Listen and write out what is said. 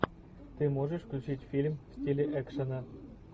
ты можешь включить фильм в стиле экшена